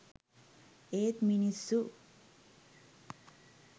ඒත් මිනිස්සු